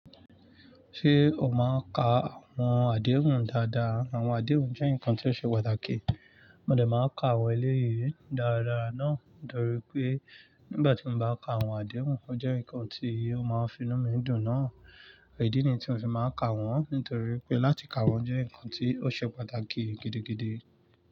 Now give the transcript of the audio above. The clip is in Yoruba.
Ṣé o máa ń ka àwọn àdéhùn dáadáa? Àwọn àdéhùn jẹ́ nǹkan tí ó ṣe pàtàkì. Mo dẹ̀ máa ka àwọn eléyìí dáradára náà nítorí pé nígbà tí mo bá ka àwọn àdéhùn, ó jẹ́ nǹkan tí ó máa ń fi inú mi dùn náà. Idí nii tí mo ti máa ń ka wọ́n nítorí pé láti ka wọ́n jẹ́ nǹkan tí ó ṣe pàtàkì gidigidi.